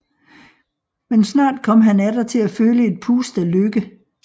Men snart kom han atter til at føle et pust af lykken